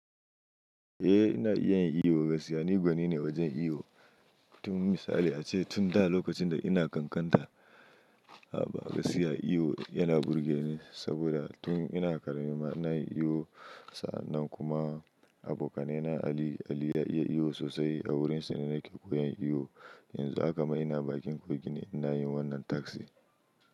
Eh ina iya yin iyo, gaskiya ni gwani ne wajen iyo. Tun misali ace tun da lokacin da ina kankanta, a ba gaskiya iyo yana burge ni saboda tun ina ƙarami ma ina yi iyo. Sa'nan kuma abokana Ali, Ali ya iya iyo sosai a wurinsa ne nake koyan iyo. Yanzu haka ma ina bakin kogi ne ina yi wannan task din.